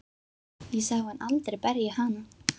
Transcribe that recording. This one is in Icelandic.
Ég sá hann aldrei berja hana.